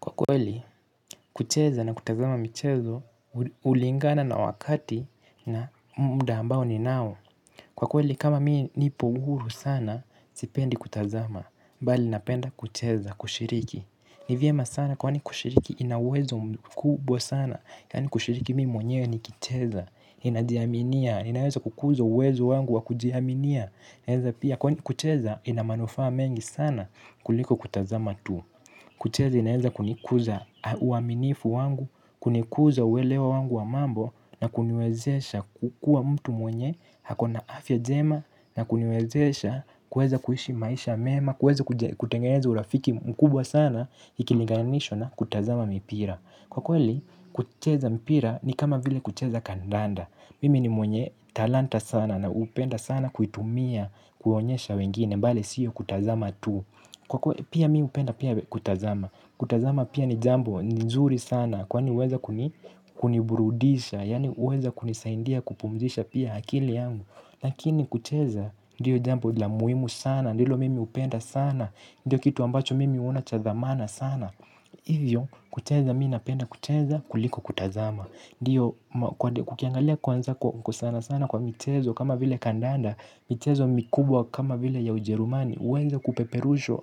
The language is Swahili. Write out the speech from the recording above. Kwa kweli, kucheza na kutazama michezo, hulingana na wakati na muda ambao ninao. Kwa kweli, kama mii nipohuru sana, sipendi kutazama bali, ninapenda kucheza, kushiriki. Nivyema sana, kwani kushiriki, inauwezo mkubwa sana. Yaani kushiriki mii mwenyewe, nikicheza, inajiaminia, inaweza kukuza uwezo wangu wa kujiaminia. Kwani kucheza, inamanufaa mengi sana, kuliko kutazama tu. Kucheza inaweza kunikuza uaminifu wangu, kunikuza uwelewa wangu wa mambo na kuniwezesha kukuwa mtu mwenye ako na afya njema na kuniwezesha kuweza kuishi maisha mema, kuwwze kutengeeza urafiki mkubwa sana ikiliganishwa na kutazama mipira. Kwa kweli kucheza mpira ni kama vile kucheza kandanda. Mimi ni mwenye talanta sana na hupenda sana kuitumia kuonyesha wengine bali siyo kutazama tu. Kwa kweli pia mimi hupenda pia kutazama. Kutazama pia ni jambo nzuri sana. Kwa huweza kuniburudisha. Yaani huweza kunisaindia kupumzisha pia akili yangu. Lakini kucheza ndiyo jambo la muhimu sana. Ndilo mimi hupenda sana. Ndio kitu ambacho mimi huona cha thamana sana. Hivyo kucheza mimi napenda kucheza kuliko kutazama ndiyo kukiangalia kuanza kwa sana sana kwa michezo kama vile kandanda. Michezo mikubwa kama vile ya ujerumani huweza kupeperushwa